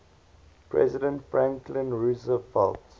president franklin roosevelt